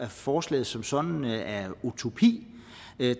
forslaget som sådan er utopi